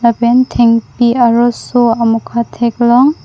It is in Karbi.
pen thengpi aroso amokha theklong.